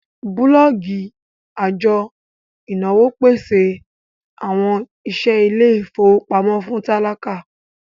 bulọọgi ajo inawo pese awọn iṣẹ ile-ifowopamọ fun tálákà